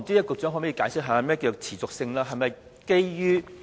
局長可否解釋何謂"持續性"呢？